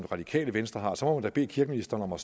radikale venstre har så må man da bede kirkeministeren om at